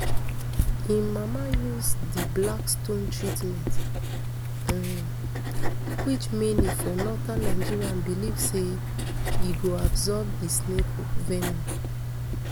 im mama use di black stone treatment um which many for northern nigeria believe say e go absorb di snake venom